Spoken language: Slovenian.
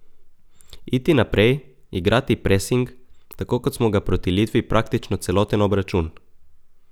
Iti naprej, igrati presing, tako kot smo ga proti Litvi praktično celoten obračun.